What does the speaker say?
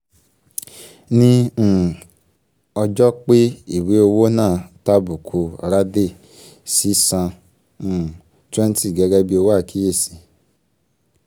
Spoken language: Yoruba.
ní um ọjọ́ pé ìwé owó náà tàbùkù radhey sì san um 20 gẹ́gẹ́ bi owó àkíyèsí